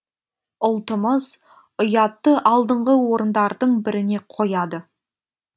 ұлтымыз ұятты алдыңғы орындардың біріне қояды